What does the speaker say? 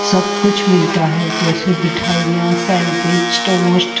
सब कुछ मिलता है जैसे मिठाईयाँ सैंडविच टोस्ट ।